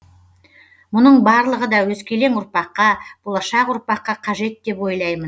мұның барлығы да өскелең ұрпаққа болашақ ұрпаққа қажет деп ойлаймын